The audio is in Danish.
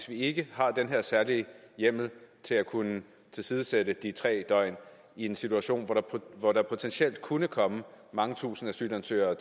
vi ikke har den her særlige hjemmel til at kunne tilsidesætte de tre døgn i en situation hvor der potentielt kunne komme mange tusinde asylansøgere